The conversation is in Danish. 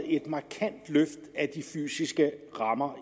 et markant løft af de fysiske rammer